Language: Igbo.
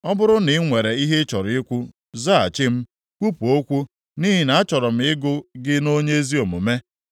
Ọ bụrụ na i nwere ihe ị chọrọ ikwu, zaghachi m; kwupụ okwu, nʼihi na achọrọ m ịgụ gị nʼonye ezi omume.